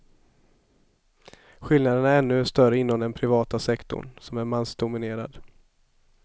Skillnaderna är ännu större inom den privata sektorn, som är mansdominerad.